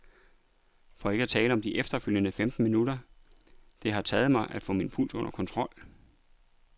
For ikke at tale om de efterfølgende femten minutter det har taget mig, at få min puls under kontrol.